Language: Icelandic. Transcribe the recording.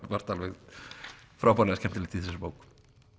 margt alveg frábærlega skemmtilegt í þessari bók